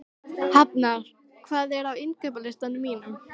Hafnar, hvað er á innkaupalistanum mínum?